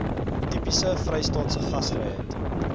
tipies vrystaatse gasvryheid